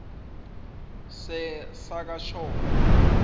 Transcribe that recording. sakashongwe